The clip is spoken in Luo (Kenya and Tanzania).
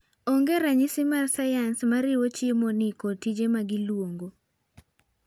Onge ranyisi mar sayans mariwo chiemoni kod tije magiluongo.